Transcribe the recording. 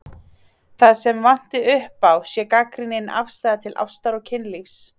Það sem vanti upp á sé gagnrýnin afstaða til ástar og kynlífs.